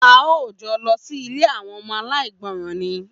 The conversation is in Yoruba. A óò jo̩ lo̩ sílé àwo̩n o̩mo̩ aláìgbo̩ràn ni!